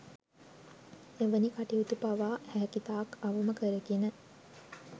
එවැනි කටයුතු පවා හැකිතාක් අවම කරගෙන